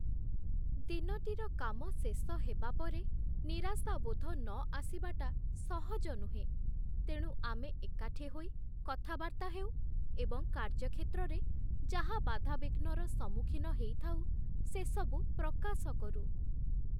ଦିନଟିର କାମ ଶେଷ ହେବାପରେ ନିରାଶାବୋଧ ନ ଆସିବାଟା ସହଜ ନୁହେଁ, ତେଣୁ ଆମେ ଏକାଠି ହୋଇ କଥାବାର୍ତ୍ତା ହେଉ, ଏବଂ କାର୍ଯ୍ୟକ୍ଷେତ୍ରରେ ଯାହା ବାଧାବିଘ୍ନର ସମ୍ମୁଖୀନ ହେଇଥାଉ, ସେସବୁ ପ୍ରକାଶ କରୁ।